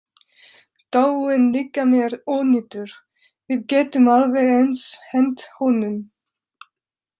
Dáinn líkami er ónýtur, við getum alveg eins hent honum.